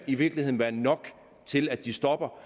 i virkeligheden være nok til at de stopper